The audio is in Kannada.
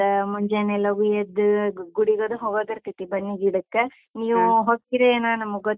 ಮತ್ತ, ಮುಂಜಾನೆ ಲಘು ಎದ್ದ್ ಗುಡಿಗದ್ ಹೋಗುದಿರ್ತೈತಿ ಬನ್ನಿ ಗಿಡಕ್ಕ್, ಹೊಗ್ತಿರೇನ ನಮ್ಗೊತ್ತಿಲ್ಲ! ನಮ್ದ.